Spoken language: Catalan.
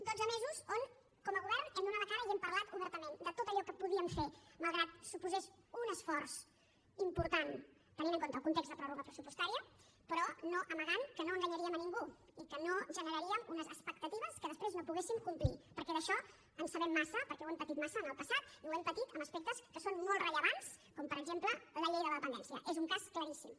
dotze mesos on com a govern hem donat la cara i hem parlat obertament de tot allò que podíem fer malgrat que suposés un esforç important tenint en compte el context de pròrroga pressupostària però no amagant que no enganyaríem a ningú i que no generaríem unes expectatives que després no poguéssim complir perquè d’això en sabem massa perquè ho hem patit massa en el passat i ho hem patit en aspectes que són molt rellevants com per exemple la llei de la dependència n’és un cas claríssim